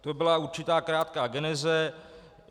To byla určitá krátká geneze.